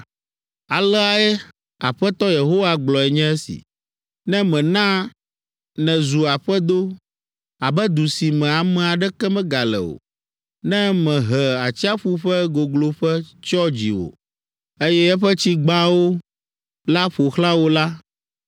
Alea Aƒetɔ Yehowa gblɔe nye esi. “Ne mena nèzu aƒedo abe du si me ame aɖeke megale o, ne mehe atsiaƒu ƒe gogloƒe tsyɔ dziwò, eye eƒe tsi gbawoo la ƒo xlã wò la,